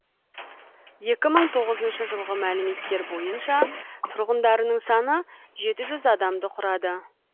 екі мың тоғызыншы жылғы мәліметтер бойынша тұрғындарының саны жеті жүз адамды құрады